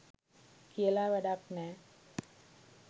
කියල වැඩක් නෑ